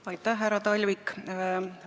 Aitäh, härra Talvik!